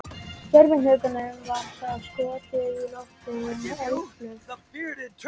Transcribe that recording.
Gervihnettinum var þá skotið á loft með eldflaug.